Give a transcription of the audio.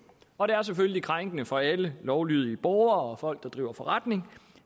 og det er selvfølgelig krænkende for alle lovlydige borgere og folk der driver forretning